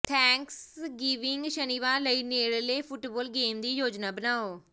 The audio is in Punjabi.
ਥੈਂਕਸਗਿਵਿੰਗ ਸ਼ਨੀਵਾਰ ਲਈ ਨੇੜਲੇ ਫੁੱਟਬਾਲ ਗੇਮ ਦੀ ਯੋਜਨਾ ਬਣਾਓ